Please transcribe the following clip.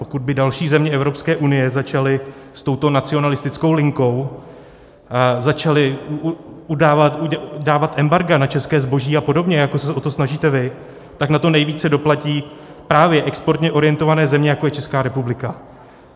Pokud by další země Evropské unie začaly s touto nacionalistickou linkou, začaly dávat embarga na české zboží a podobně, jako se o to snažíte vy, tak na to nejvíce doplatí právě exportně orientované země, jako je Česká republika.